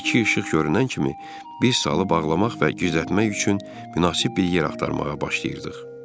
İki işıq görünən kimi biz salı bağlamaq və gizlətmək üçün münasib bir yer axtarmağa başlayırdıq.